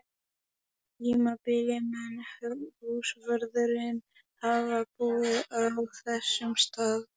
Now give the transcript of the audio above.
tímabili mun húsvörðurinn hafa búið á þessum stað.